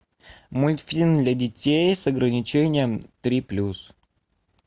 мультфильм для детей с ограничением три плюс